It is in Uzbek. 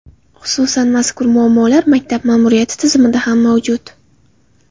Xususan, mazkur muammolar maktab ma’muriyati tizimida ham mavjud.